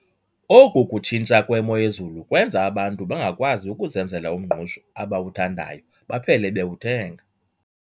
Oku kutshintsha kwemoyezulu kwenza abantu bangakwazi ukuzenzela umngqusho abawuthandayo baphele bewuthenga.